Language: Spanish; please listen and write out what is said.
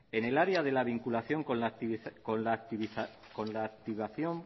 en el área de la vinculación con la activación